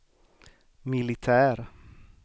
militär